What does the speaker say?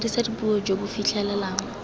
dirisa dipuo jo bo fitlhelelang